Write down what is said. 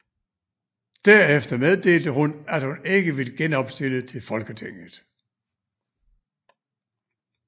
Derefter meddelte hun at hun ikke vil genopstille til Folketinget